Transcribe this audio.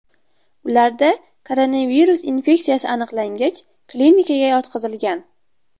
Ularda koronavirus infeksiyasi aniqlangach, klinikaga yotqizilgan.